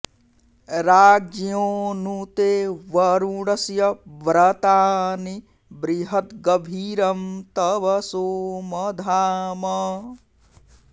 राज्ञो॒ नु ते॒ वरु॑णस्य व्र॒तानि॑ बृ॒हद्ग॑भी॒रं तव॑ सोम॒ धाम॑